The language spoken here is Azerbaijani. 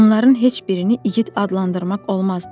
Onların heç birini igid adlandırmaq olmazdı.